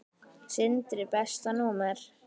Sindri Besta númer?